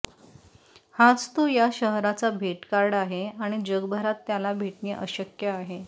हाच तो या शहराचा भेट कार्ड आहे आणि जगभरात त्याला भेटणे अशक्य आहे